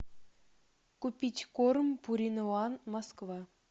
купить корм пурина ван москва